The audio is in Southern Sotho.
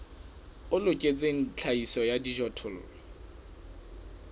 o loketseng tlhahiso ya dijothollo